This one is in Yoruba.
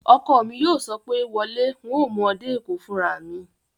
Ọkọ mi yóò sọ pé, "wọ lé, un ó mú ọ dé Èkó fúnra mi!"